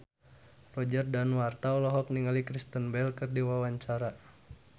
Roger Danuarta olohok ningali Kristen Bell keur diwawancara